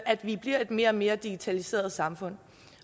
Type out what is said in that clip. at vi bliver et mere og mere digitaliseret samfund